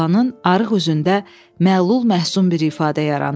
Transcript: Oğlanın arıq üzündə məlul-məsum bir ifadə yarandı.